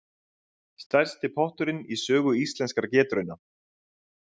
Stærsti potturinn í sögu Íslenskra getrauna